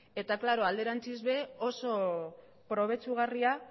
eta alderantziz ere oso probetxugarria